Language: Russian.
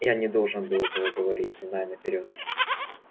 я не должен был этого говорить зная наперёд